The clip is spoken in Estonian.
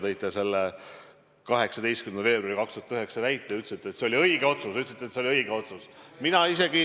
Te tõite 2009. aasta 18. veebruari näite ja ütlesite, et see oli õige otsus.